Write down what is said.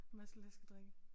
Masse læskedrikke